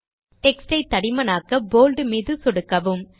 text யை தடிமனாக்க bold மீது சொடுக்கவும்